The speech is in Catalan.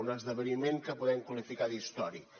un esdeveniment que podem qualificar d’històric